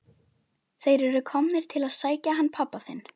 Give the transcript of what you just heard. Þeir eru komnir til að sækja hann pabba þinn.